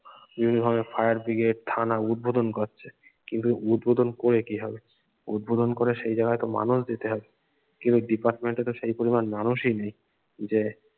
বিভিন্ন ভাবে fire bridge থানা উদ্ভোদন করছে কিন্ত উদ্ভোদন করে কি হবে উদ্ভোদন করে সেই জায়গায় তো মানুষ দিতে হবে কিন্ত department এ তো সেই পরিমান মানুষই নেই যে